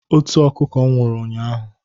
Otu ọkụkọ m nwụrụ ụnyaahụ.